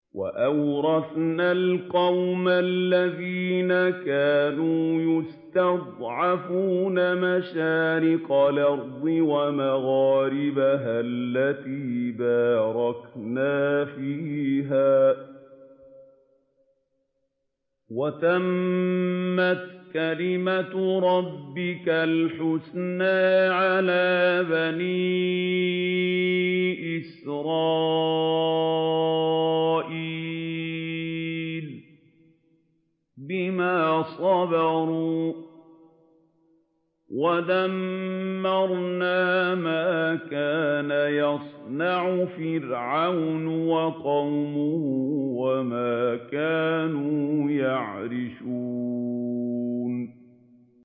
وَأَوْرَثْنَا الْقَوْمَ الَّذِينَ كَانُوا يُسْتَضْعَفُونَ مَشَارِقَ الْأَرْضِ وَمَغَارِبَهَا الَّتِي بَارَكْنَا فِيهَا ۖ وَتَمَّتْ كَلِمَتُ رَبِّكَ الْحُسْنَىٰ عَلَىٰ بَنِي إِسْرَائِيلَ بِمَا صَبَرُوا ۖ وَدَمَّرْنَا مَا كَانَ يَصْنَعُ فِرْعَوْنُ وَقَوْمُهُ وَمَا كَانُوا يَعْرِشُونَ